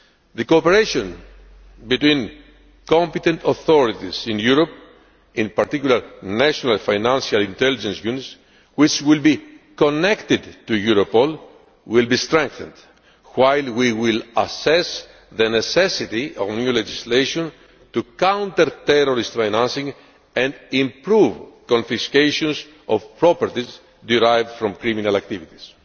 The cooperation between competent authorities in Europe, in particular national Financial Intelligence Units, which will be connected to Europol, will be strengthened while we will assess the necessity of new legislation to counter terrorist financing and improve confiscation of property derived from criminal activities.